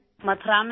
متھرا میں